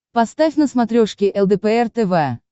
поставь на смотрешке лдпр тв